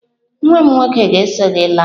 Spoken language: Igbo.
Nwa m nwoke ga-eso gị laa.